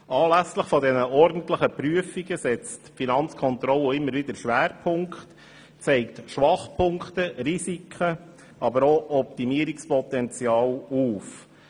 Anlässlich der ordentlichen Prüfungen setzt die Finanzkontrolle immer wieder Schwerpunkte und zeigt Schwachpunkte, Risiken aber auch Optimierungspotenzial auf.